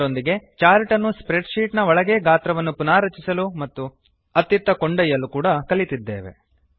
ಅದರೊಂದಿಗೆ ಚಾರ್ಟ್ ಅನ್ನು spreadsheet ನ ಒಳಗೆಯೇ ಗಾತ್ರವನ್ನು ಪುನಾರಚಿಸಲು ಮತ್ತು ಅತ್ತಿತ್ತ ಕೊಂಡೊಯ್ಯಲು ಕಲಿತಿದ್ದೇವೆ